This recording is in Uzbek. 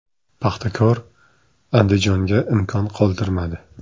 “Paxtakor” “Andijon”ga imkon qoldirmadi.